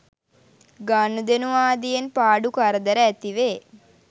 ගනුදෙනු ආදියෙන් පාඩු කරදර ඇතිවේ